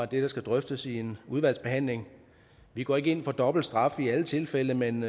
det der skal drøftes i udvalgsbehandlingen vi går ikke ind for dobbeltstraf i alle tilfælde men